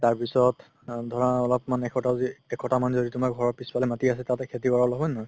তাৰপিছত ধৰা অলপমান একসপ্তাহ মান যদি তুমাৰ ঘৰৰ পিছফালে মাতি আছে তাতে খেতি কৰা হয় নে নহয়